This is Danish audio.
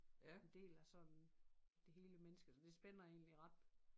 En del af sådan det hele menneske så det spænder egentlig ret